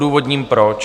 Odůvodním proč.